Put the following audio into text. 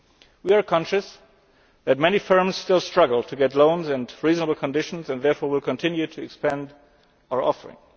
We are conscious that many firms still struggle to get loans at reasonable conditions, and therefore we will continue to expand our offering.